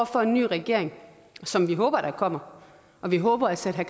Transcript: for en ny regering som vi håber der kommer og vi håber at sætte